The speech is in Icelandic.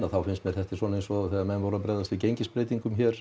finnst mér þetta eins og þegar menn voru að bregðast við gengisbreytingum hér